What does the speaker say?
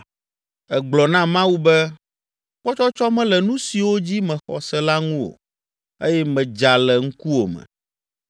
Ègblɔ na Mawu be ‘Kpɔtsɔtsɔ mele nu siwo dzi mexɔ se la ŋu o eye medza le ŋkuwòme.’